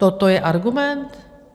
Toto je argument?